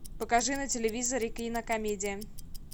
покажи на телевизоре кинокомедия